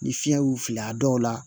Ni fiɲɛ y'u fili a dɔw la